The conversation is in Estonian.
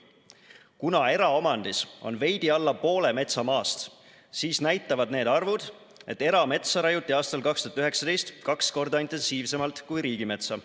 Kuna eraomandis on veidi alla poole metsamaast, siis näitavad need arvud, et erametsa raiuti aastal 2019 kaks korda intensiivsemalt kui riigimetsa.